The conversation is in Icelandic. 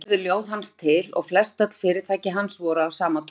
Þannig urðu ljóð hans til og flestöll fyrirtæki hans voru af sama toga.